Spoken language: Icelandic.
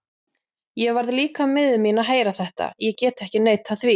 Ég varð líka miður mín að heyra þetta, ég get ekki neitað því.